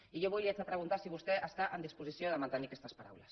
i jo avui li haig de preguntar si vostè està en disposició de mantenir aquestes paraules